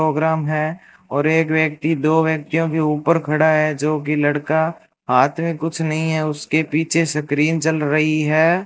Programme है और एक व्यक्ति दो व्यक्तियों के ऊपर खड़ा है जोकि लड़का हाथ में कुछ नहीं है उसके पीछे स्क्रीन चल रही है।